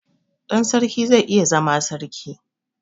Ɗan sarki zai iya zama sarki